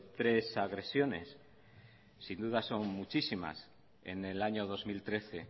tres agresiones sin duda son muchísimas en el año dos mil trece